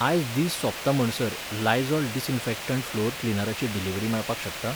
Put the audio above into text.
आयज दीस सोंपताम्हणसर लायझॉल डिसइन्फॅक्टण्ट फ्लोर क्लीनराची डिलिव्हरी मेळपाक शकता?